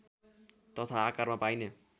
तथा आकारमा पाइने